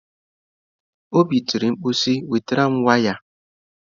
Obi tiri mkpu si, wetara m waya!